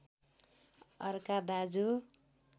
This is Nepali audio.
अर्का दाजु